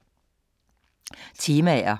Temaer